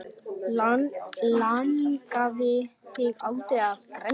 Langaði þig aldrei að grenja?